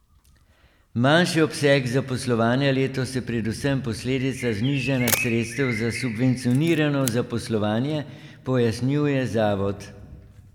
Manjši obseg zaposlovanja letos je predvsem posledica znižanja sredstev za subvencionirano zaposlovanje, pojasnjuje zavod.